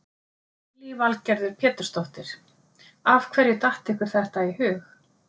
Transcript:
Lillý Valgerður Pétursdóttir: Af hverju datt ykkur þetta í hug?